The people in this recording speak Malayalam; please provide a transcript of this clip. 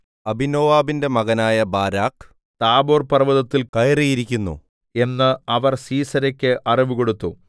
അബീനോവാബിന്റെ മകനായ ബാരാക്ക് താബോർപർവ്വതത്തിൽ കയറിയിരിക്കുന്നു എന്ന് അവർ സീസെരെക്ക് അറിവ് കൊടുത്തു